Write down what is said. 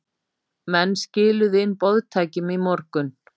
Menn skiluðu inn boðtækjum í morgun